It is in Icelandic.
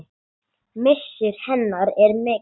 Missir hennar er mikill.